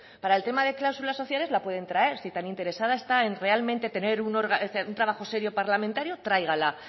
para el tema de cláusulas sociales la pueden traer si tan interesada esta en realmente tener un trabajo serio parlamentario tráigala